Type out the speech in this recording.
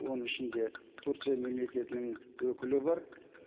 оның ішінде турция мемлекетінің өкілі бар